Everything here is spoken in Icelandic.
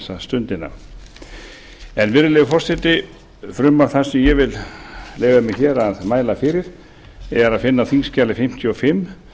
þessa stundina virðulegi forseti frumvarp það sem ég vil leyfa mér hér að mæla fyrir er að finna á þingskjali fimmtíu og fimm